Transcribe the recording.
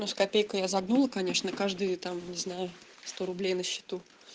но с копейкой я загнул конечно каждый там не знаю сто рублей на счету